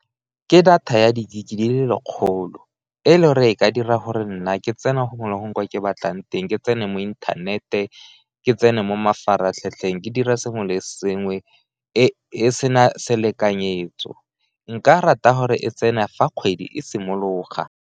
Ke data ya di-gig di le lekgolo e e le gore e ka dira gore nna ke tsena gongwe le gongwe kwa ke batlang teng, ke tsene mo inthanete, ke tsena mo mafaratlhatlheng, ke dira sengwe le sengwe e sena selekanyetso. Nka rata gore e tsene fa kgwedi e simologa.